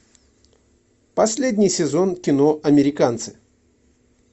последний сезон кино американцы